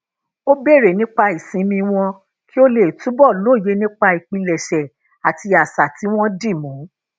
ó béèrè nípa ìsinmi wọn kí ó lè túbò lóye nipa ìpilèṣè àti asa ti won di mú